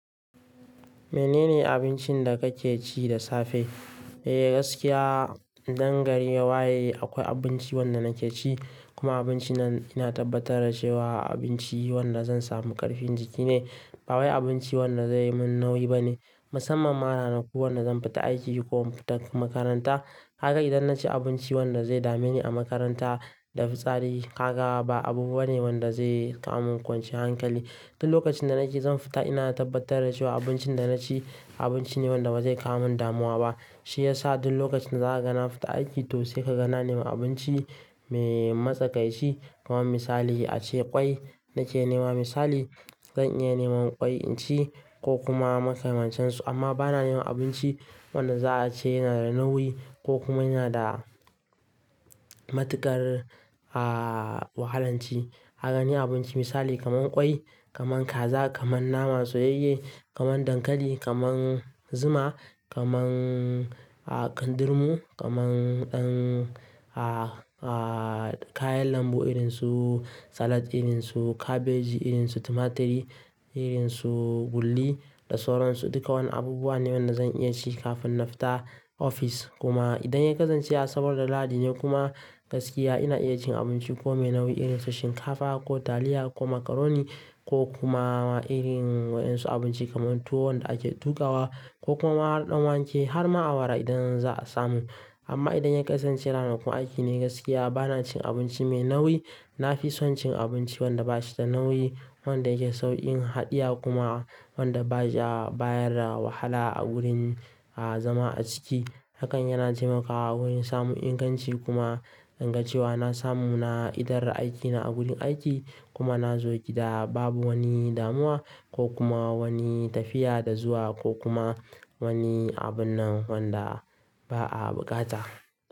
Menene abincin da kake ci da safe? Eh gaskiya, idan gari ya waye akwai abinci wanda nake ci. Kuma abinci nan ina tabbatar da cewa abinci wanda zan samu ƙarfin jiki ne. Ba wai abinci wanda zai yi min nauyi ba ne. Musamman ma ranaku wanda zan fita aiki ko zan fita makaranta. Kaga idan naci abinci wanda zai dame ni a makaranta da fitsari, kaga ba abu bane wanda zai kawo mun kwanciya hankali. Duk lokacin da nake zan fita ina tabbatar da cewa abincin da naci abinci ne wanda ba zai kawo mun damuwa ba. Shi yasa duk lokacin da za a gana fita aiki to sai ka ga na nema abinci me matsakaici kamar misali ace ƙwai nake nema misali, zan iya nema ƙwai inci ko kuma maka man can su. Amma ba na nema abinci wanda za a ce yana da nauyi ko kuma yana da matuƙar, ah, wahalan ci. Kaga ni abinci misali kamar ƙwai, kamar kaza, kamar nama soyayye, kamar dankali, kamar zuma, kamar, ah, kandirmu, kamar ɗan, ah, ah, kayan lambu irin su salad, irin su kabeji, irin su tumaturi, irin su gulli da sauransu. Duka wani abubuwa ne wanda zan iya ci kafin na fita ofis. Kuma idan ya kasance asabar da lahadi ne kuma gaskiya ina iya cin abinci ko me nauyi irin su shinkafa ko taliya ko makaroni ko kuma irin wa'yansu abinci kamar tuwo wanda ake tukawa ko kuma ɗan wake har ma awara idan za a samu. Amma idan ya kasance ranakun aiki ne gaskiya ba na cin abinci me nauyi. Na fi son cin abinci wanda ba shi da nauyi, wanda yake sauƙin haɗiya kuma wanda ba ya bayar da wahala a gurin, ah, zama a ciki. Hakan yana taimakawa wurin samun inganci kuma don ga cewa na samu na idar da aikina a gurin aiki kuma na zo gida babu wani damuwa ko kuma wani tafiya da zuwa ko kuma wani abun nan wanda ba a bukata.